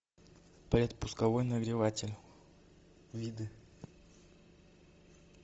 пэт пусковой нагреватель виды